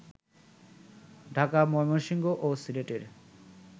ঢাকা, ময়মনসিংহ ও সিলেটের